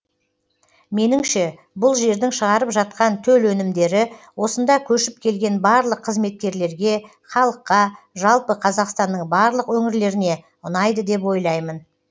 меніңше бұл жердің шығарып жатқан төл өнімдері осында көшіп келген барлық қызметкерлерге халыққа жалпы қазақстанның барлық өңірлеріне ұнайды деп ойлаймын